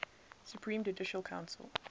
supreme judicial council